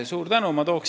Suur tänu!